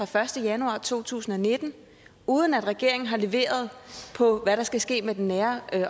første januar to tusind og nitten uden at regeringen har leveret på hvad der skal ske med det nære